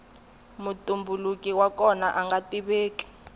mutumbuluki wa kona anga tiveki